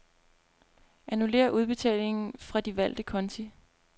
Annullér udbetalingen fra de valgte konti.